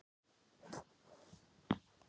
Vestar, hvernig er veðurspáin?